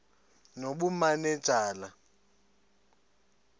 nobumanejala